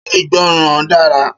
Ṣé ìgbọràn dara?